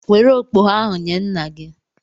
Were okpogho ahụ nye nna gị!